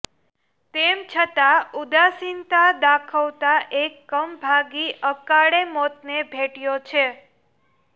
તેમ છંતા ઉદાસીનતા દાખવતા એક કમભાગી અકાળે મોતને ભેટયો છે